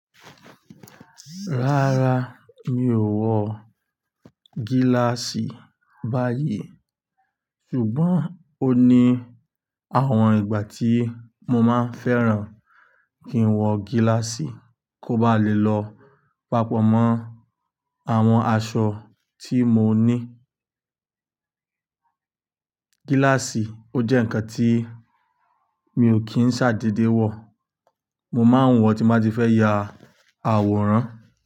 Rárá mi ò wọ gíláàsì báyìí ṣùgbọ́n ó ní àwọn ìgbà tí mo máa ń fẹ́ran kí n wọ gíláàsì kó bá lè lọ papọ̀ mọ́ àwọn aṣọ tí mo ní. Gíláàsì ó jẹ́ ǹkan tí mi ò kí ń ṣàdedé wọ̀, mo máa ń wọ̀ tí mo bá ti fẹ́ ya àwòrán.